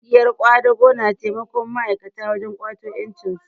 Ƙungiyar ƙwadago na taimakon ma'aikata wajen ƙwato ƴancinsu